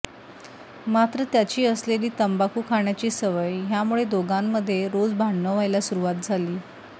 मात्र त्याची असलेली तंबाखू खाण्याची सवय ह्यामुळे दोघांमध्ये रोज भांडण व्हायला सुरुवात झाली